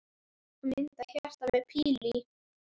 Og mynd af hjarta með pílu í.